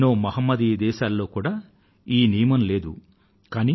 ఎన్నో మహమ్మదీయ దేశాలలో ఈ నియమం లేదు కూడా